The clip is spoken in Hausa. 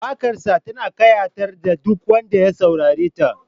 Waƙarsa tana ƙayatar da duk wanda ya saurareta